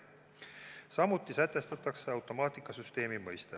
Samuti sätestatakse automaatikasüsteemi mõiste.